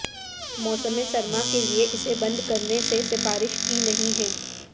موسم سرما کے لئے اسے بند کرنے سے سفارش کی نہیں ہے